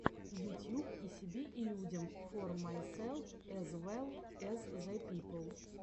ютьюб и себе и людям фор майселф эз вэлл эз зэ пипл